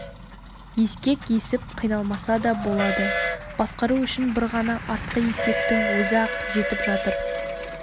ескек есіп қиналмаса да болады басқару үшін бір ғана артқы ескектің өзі-ақ жетіп жатыр